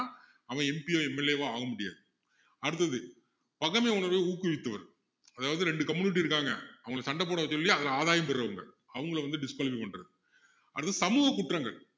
அவன் MP யோ MLA வோ ஆக முடியாது அடுத்தது பகைமை உணர்வை ஊக்குவிப்பவன் அதாவது ரெண்டு community இருக்காங்க அவங்களை சண்டை போட சொல்லி அதுல ஆதாயம் பெர்றவங்க அவங்களை வந்து disqualify பண்றது அடுத்தது வந்து சமூக குற்றங்கள்